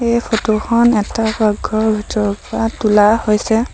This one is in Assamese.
এই ফটো খন এটা পাকঘৰৰ ভিতৰৰ পৰা তোলা হৈছে।